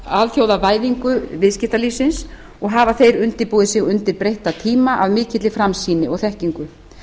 alþjóðavæðingu viðskiptalífsins og hafa þeir undirbúið sig undir breytta tíma af mikill framsýni og þekkingu